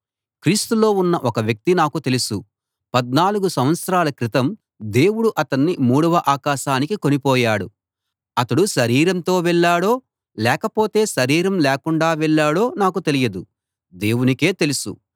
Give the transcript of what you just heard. క్రీస్తులో ఉన్న ఒక వ్యక్తి నాకు తెలుసు పద్నాలుగు సంవత్సరాల క్రితం దేవుడు అతణ్ణి మూడవ ఆకాశానికి కొనిపోయాడు అతడు శరీరంతో వెళ్ళాడో లేకపోతే శరీరం లేకుండా వెళ్ళాడో నాకు తెలియదు దేవునికే తెలుసు